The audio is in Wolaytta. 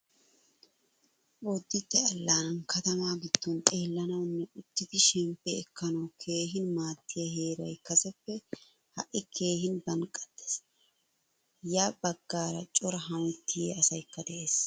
Boditte allaanan katama giddon xeelanawunne uttidi shemppi ekkanawu keehin maadiyaa heeray kaseppe ha'i keehin banqqattees. Ya baggaara cora haamettiya asaykka de'ees.